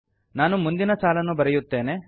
ನಾನು ಮುಂದಿನ ಸಾಲನ್ನು ಬರೆಯುತ್ತೇನೆ